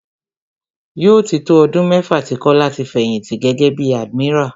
Yóò tí tó ọdún mẹ́fà tí Kọ́lá ti fẹ̀yìnti gẹ́gẹ́ bí admiral.